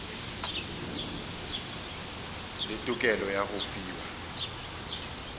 le tokelo ya go fiwa